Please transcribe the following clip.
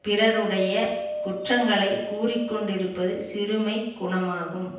பிறருடைய குற்றங்களை கூறிக்கொண்டிருப்பது சிறுமைக் குணமாகும்